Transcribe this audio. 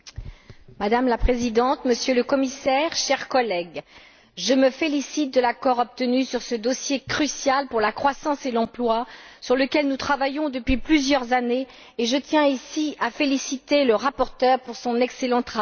Madame la Présidente, Monsieur le Commissaire, chers collègues, je me félicite de l'accord obtenu sur ce dossier crucial pour la croissance et l'emploi, sur lequel nous travaillons depuis plusieurs années et je tiens à féliciter le rapporteur pour son excellent travail.